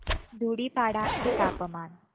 धुडीपाडा चे तापमान